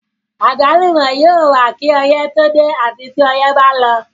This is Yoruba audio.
Àgbálùmọ́ yóò wà kí ọyẹ́ tó dé àti tí ọyẹ́ ba lọ.